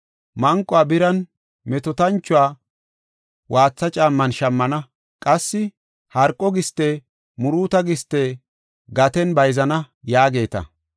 Manquwa biran, metootanchuwa waatha caamman shammana; qassi harqo giste muruuto giste gaten bayzana” yaageeta.